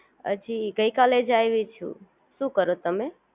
હજી ગઈકાલે જ આયવી છું, શું કરો તમે